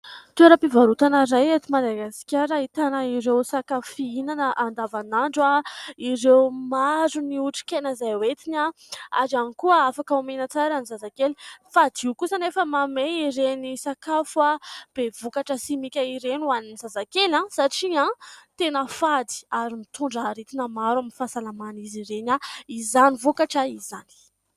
Toeram-pivarotana iray eto Madagasikara ahitana ireo sakafo fihinana andavanandro, ireo maro ny otrikaina izay entiny ary ihany koa afaka omena tsara ny zazakely. Fadio kosa anefa ny manome ireny sakafo be vokatra simika ireny ho an'ny zazakely satria tena fady ary mitondra aretina maro amin'ny fahasalaman'izy ireny izany vokatra izany.